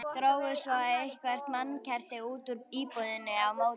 Drógu svo eitthvert mannkerti út úr íbúðinni á móti.